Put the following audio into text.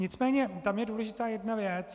Nicméně tam je důležitá jedna věc.